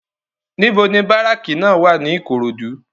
NIbò ni báráki wá ni Ikorodu?